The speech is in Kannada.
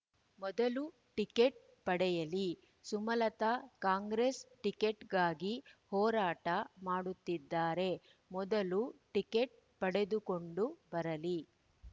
ಮೊದಲು ಟಿಕೆಟ್‌ ಪಡೆಯಲ್ಲಿ ಸುಮಲತಾ ಕಾಂಗ್ರೆಸ್‌ ಟಿಕೆಟ್‌ಗಾಗಿ ಹೋರಾಟ ಮಾಡುತ್ತಿದ್ದಾರೆ ಮೊದಲು ಟಿಕೆಟ್‌ ಪಡೆದುಕೊಂಡು ಬರಲಿ